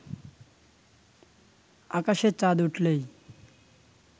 আকাশে চাঁদ উঠলেই